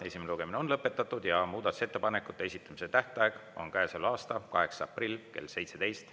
Esimene lugemine on lõpetatud ja muudatusettepanekute esitamise tähtaeg on käesoleva aasta 8. aprill kell 17.